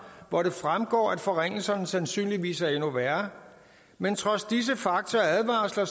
hvor det fremgår at forringelserne sandsynligvis er endnu værre men trods disse fakta og advarsler